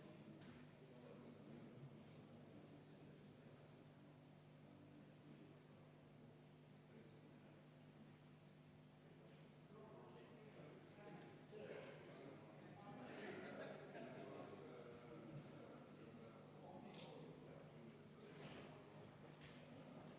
Kümnes muudatusettepanek on esitatud Sotsiaaldemokraatliku Erakonna fraktsiooni poolt, juhtivkomisjon on arvestanud täielikult.